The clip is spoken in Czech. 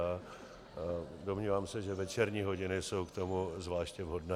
A domnívám se, že večerní hodiny jsou k tomu zvláště vhodné.